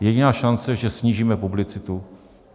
Jediná šance je, že snížíme publicitu.